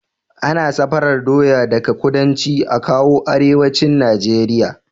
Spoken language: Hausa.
Ana safarar doya daka kudanci akawo arewacin nigeria